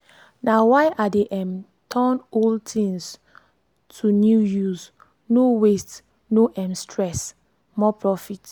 na why i dey um turn old things to new use no waste no um stress more profit.